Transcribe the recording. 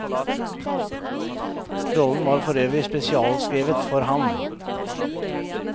Rollen var for øvrig spesialskrevet for ham.